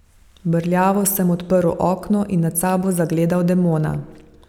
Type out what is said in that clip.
Brljavo sem odprl oko in nad sabo zagledal demona.